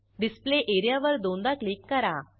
display area वर दोनदा click करा